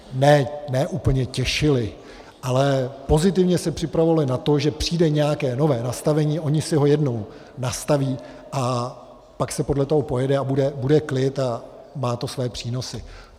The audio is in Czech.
ne úplně těšily, ale pozitivně se připravovaly na to, že přijde nějaké nové nastavení, ony si ho jednou nastaví a pak se podle toho pojede a bude klid a má to svoje přínosy.